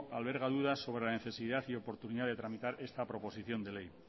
alberga dudas sobre la necesidad y oportunidad de tramitar esta proposición de ley